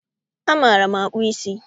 Ama maara akpụ ísí